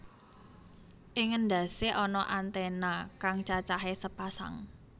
Ing endhasé ana antèna kang cacahe sepasang